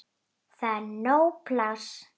Það er nóg pláss.